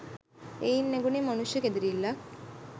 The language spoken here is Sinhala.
එයින් නැඟුනේ මනුෂ්‍ය කෙඳිරිල්ලක්